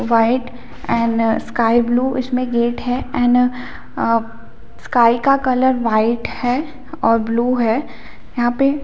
white and sky blue इसमें gate है and uh sky का कलर वाइट है और ब्लू है यहाँ पे --